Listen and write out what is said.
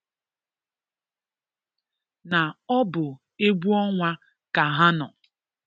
na ọ bụ egwu ọnwa ka ha nọ.